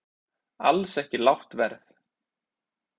Alls ekki lágt verð